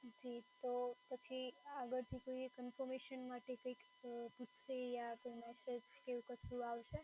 જી તો પછી આગળથી કોઈ confirmation માટે કંઈક પૂછશે અમ યા તો એવું કશું આવશે